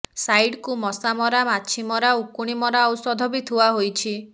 side କୁ ମଶା ମରା ମାଛି ମରା ଉକୁଣି ମରା ଔଷଧ ବି ଥୁଆ ହୋଇଛି